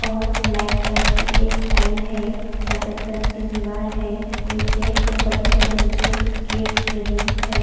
और black colour ईस tiles है सफ़ेद कलर कि दिवार है निचे ऊपर की शैडो नीचे गिर रही हैं।